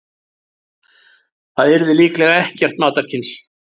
Það yrði líklega ekkert matarkyns.